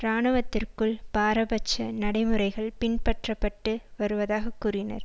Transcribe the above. இராணுவத்திற்குள் பாரபட்ச நடைமுறைகள் பின்பற்றப்பட்டு வருவதாக கூறினர்